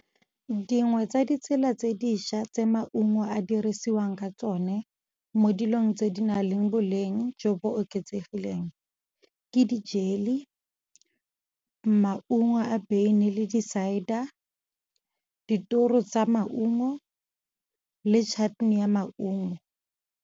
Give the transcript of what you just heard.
Dingwe tsa ditsela tse dišwa tse maungo a dirisiwang ka tsone, mo dilong tse di nang le boleng jo bo oketsegileng. Ke di-jelly, maungo a beine le di-cider, ditoro tsa maungo, le chutney ya maungo.